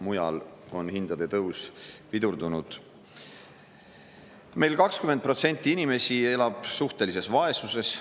Mujal on hindade tõus pidurdunud, meil 20% inimesi elab suhtelises vaesuses.